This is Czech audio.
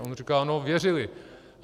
A on říká: No věřili.